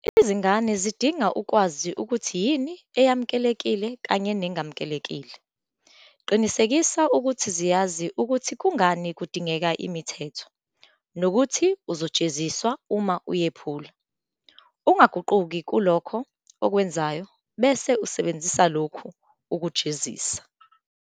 Izingane zidinga ukwazi ukuthi yini eyemukelekile kanye nengemukelekile Qinisekisa ukuthi ziyazi ukuthi kungani kudingeka imithetho nokuthi uzojeziswa uma uyephula. Ungaguquki kulokho okwenzayo bese usebenzisa lokhu kujezisa.